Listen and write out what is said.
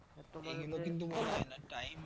এগুলা কিস্তু মনে হয় না তাই